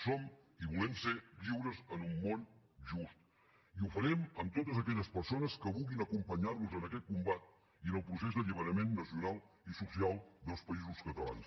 som i volem ser lliures en un món just i ho farem amb totes aquelles persones que vulguin acompanyar nos en aquest combat i en el procés d’alliberament nacional i social dels països catalans